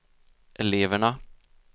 eleverna